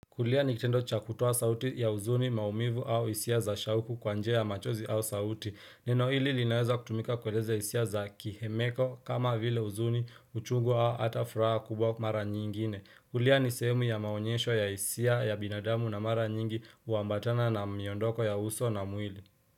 Kulia nikitendo cha kutoa sauti ya uzuni maumivu au hisia za shauku kwa njia ya machozi au sauti. Nino hili linaweza kutumika kueleza hisia za kihemeko kama vile uzuni uchungu au hata furaha kubwa mara nyingine. Kulia ni sehemu ya maonyesho ya hisia ya binadamu na mara nyingi huambatana na miondoko ya uso na mwili.